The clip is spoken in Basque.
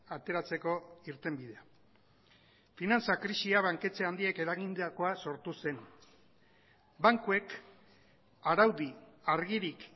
ateratzeko irtenbidea finantza krisia banketxe handiek eragindakoaz sortu zen bankuek araudi argirik